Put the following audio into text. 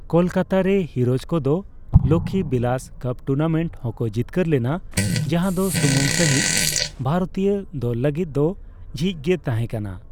ᱠᱚᱞᱠᱟᱛᱟᱨᱮ ᱦᱤᱨᱳᱡᱽ ᱠᱚᱫᱚ Lakhi Bilas cup tournament ᱦᱚᱠᱚ ᱡᱤᱛᱠᱟᱹᱨ ᱞᱮᱱᱟ, ᱡᱟᱦᱟ ᱫᱚ ᱥᱩᱢᱩᱝ ᱥᱟᱹᱦᱤᱡᱽ ᱵᱷᱟᱨᱚᱛᱤᱭᱟᱹ ᱫᱚᱞ ᱞᱟᱹᱜᱤᱫ ᱫᱚ ᱡᱷᱤᱡᱽᱜᱮ ᱛᱟᱦᱮᱸ ᱠᱟᱱᱟ ᱾